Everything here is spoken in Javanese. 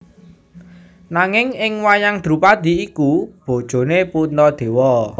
Nanging ing wayang Drupadhi iku bojone Puntadewa